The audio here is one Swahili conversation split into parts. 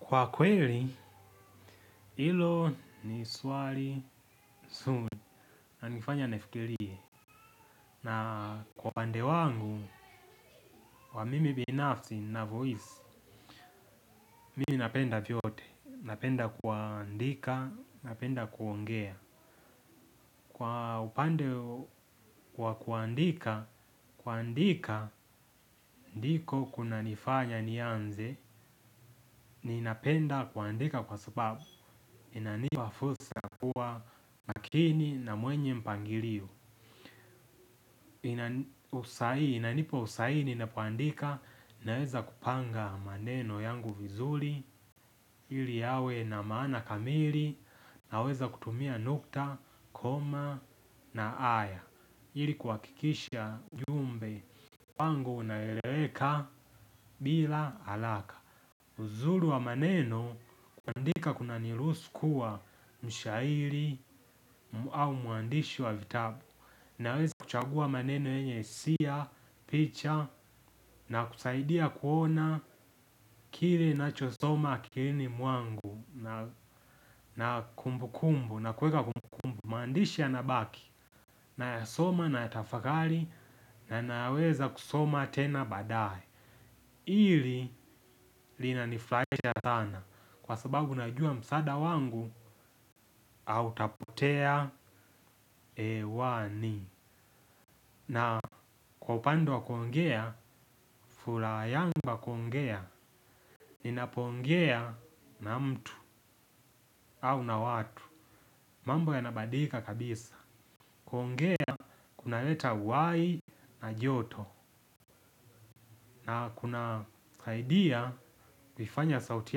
Kwa kweli hilo ni swali zuri linanifanya nifikirie na kwa upande wangu kwa mimi binafsi ninavyohisi. Mimi napenda vyote napenda kuandika napenda kuongea. Kwa upande wa kuandika kuandika ndiko kuna nifanya nianze. Ninapenda kuandika kwa sababu inanipa fursa kuwa makini na mwenye mpangilio. Inanipa usahihi ninapoandika naweza kupanga maneno yangu vizuri. Ili yawe na maana kamili naweza kutumia nukta koma na aya ili kuhakikisha ujumbe wangu unaeleweka bila haraka. Uzuri wa maneno kuandika kunanirhusu kuwa mshairi au muandishi wa vitabu. Naweza kuchagua maneno yenye hisia picha na kusaidia kuona kile ninacho soma akilini mwangu na kumbu kumbu na kuweka kumbu kumbu. Mandishi ya nabaki nayasoma nayatafakari na naweza kusoma tena badaye hili linanifurahisha sana kwa sababu najua msaada wangu hautapotea hewani. Na kwa upande kuongea furaha yangu ya kuongea ninapo ongea na mtu au na watu. Mambo yanabadilika kabisa kuongea kunaleta uhai na joto. Na kuna saidia kuifanya sauti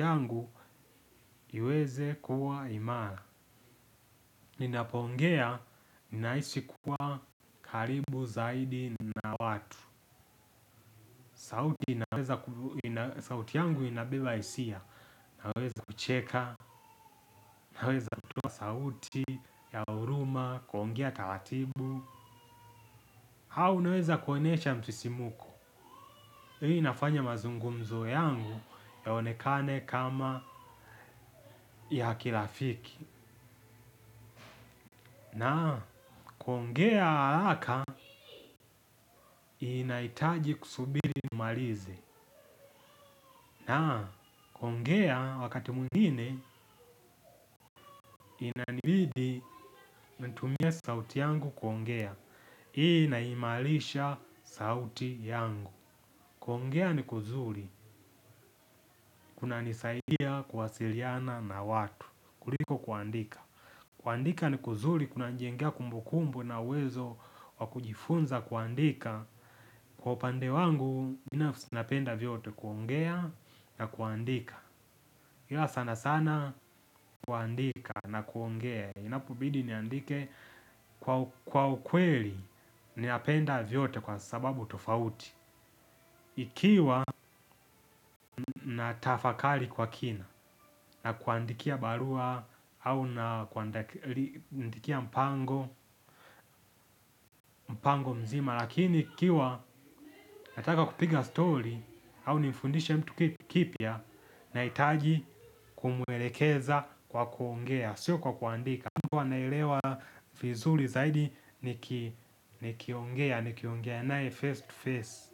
yangu iweze kuwa imara ninapoongea ninahisi kuwa karibu zaidi na watu. Sauti yangu inabeba hisia. Naweza kucheka naweza kutoa sauti ya huruma kuongea taratibu au naweza kuonyesha msisimko. Hii inafanya mazungumzo yangu yaonekane kama ya kirafiki. Na kuongea haraka inahitaji kusubiri nimalize. Na kuongea wakati mwingine inanibidi nitumie sauti yangu kuongea. Hii inaimarisha sauti yangu. Kuongea ni kuzuri. Kuna nisaidia kuwasiliana na watu kuliko kuandika. Kuandika ni kuzuli. Kuna nijengea kumbukumbu na uwezo wa kujifunza kuandika. Kwa upande wangu binafsi napenda vyote kuongea na kuandika. Ila sanasana kuandika na kuongea. Inapobidi niandike kwa ukweli ninapenda vyote kwa sababu tofauti. Ikiwa natafakari kwa kina na kuandikia barua au na kuandikia mpango mzima lakini ikiwa nataka kupiga story au nifundishe mtu kitu kipya nahitaji kumwelekeza kwa kuongea. Sio kwa kuandika. Kwa nalewa vizuri zaidi nikiongea nikiongea nae face to face.